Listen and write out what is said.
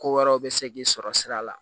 Ko wɛrɛw bɛ se k'i sɔrɔ sira la